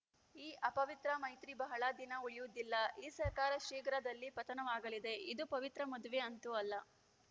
ಈ ಅಪವಿತ್ರ ಮೈತ್ರಿ ಬಹಳ ದಿನ ಉಳಿಯುವುದಿಲ್ಲ ಈ ಸರ್ಕಾರ ಶೀಘ್ರದಲ್ಲಿ ಪತನವಾಗಲಿದೆ ಇದು ಪವಿತ್ರ ಮದುವೆ ಅಂತೂ ಅಲ್ಲ